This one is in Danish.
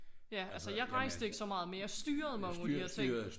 Ja altså jeg rejste ikke så meget men jeg styrede mange af de ting